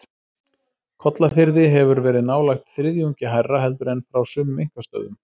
Kollafirði hefur verið nálægt þriðjungi hærra heldur en frá sumum einkastöðvum.